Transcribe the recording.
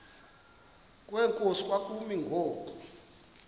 kwenkosi kwakumi ngoku